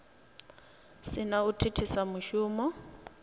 si na u thithisa mushumo